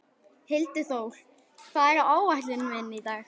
Hildiþór, hvað er á áætluninni minni í dag?